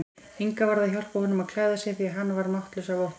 Inga varð að hjálpa honum að klæða sig því hann var máttlaus af ótta.